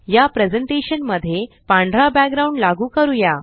या प्रेज़ेंटेशन मध्ये पांढरा बॅकग्राउंड लागू करूया